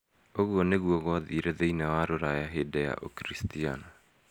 Ũguo nĩguo gwathire thĩinĩ wa Rũraya hĩndĩ ya Ũkiricitiano.